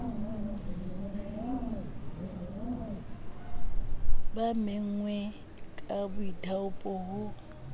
ba menngweng ka boithaopo ho